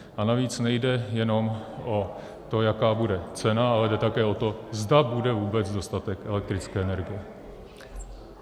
A navíc nejde jenom o to, jaká bude cena, ale jde také o to, zda bude vůbec dostatek elektrické energie.